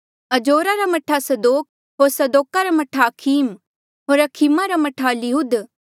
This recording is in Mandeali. अजोरा रा मह्ठा सदोक होर सदोका रा मह्ठा अखीम होर अखीमा रा मह्ठा इलीहूद